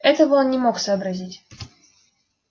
этого он не мог сообразить